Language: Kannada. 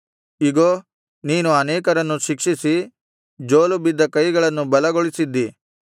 ಇಗೋ ನೀನು ಅನೇಕರನ್ನು ಶಿಕ್ಷಿಸಿ ಜೋಲು ಬಿದ್ದ ಕೈಗಳನ್ನು ಬಲಗೊಳಿಸಿದ್ದಿ